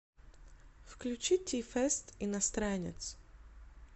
включи ти фест иностранец